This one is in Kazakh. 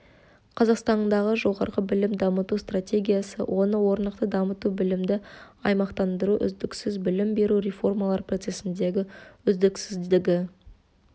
қазақстандағы жоғары білімді дамыту стратегиясы оны орнықты дамыту білімді аумақтандыру үздіксіз білім беру реформалар процессіндегі үздіксіздігі